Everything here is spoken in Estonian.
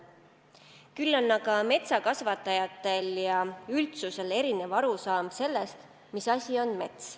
Küll aga on metsakasvatajatel ja üldsusel erinev arusaam sellest, mis asi on mets.